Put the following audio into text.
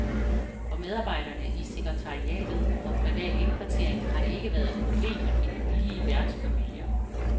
For medarbejderne i sekretariatet for privat indkvartering har det ikke været et problem at finde villige værtsfamilier.